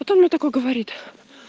потом он такой говорит